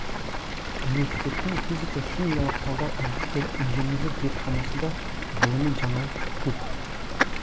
университеттің физика химиялық талдау әдістері инженерлік зертханасында ғылыми жаңалық көп